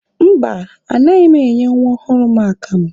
Mba, anaghị m enye nwa ọhụrụ m akamụ.